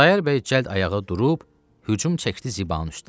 Xudayar bəy cəld ayağa durub, hücum çəkdi Zibanın üstə.